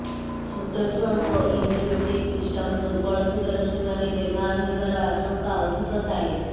ଛୋଟ ଛୁଆଙ୍କ immunity system ଦୁର୍ବଳ ଥିବାରୁ ସେମାନେ ବେମାର ହେବାର ଆଶଙ୍କା ଅଧିକ ଥାଏ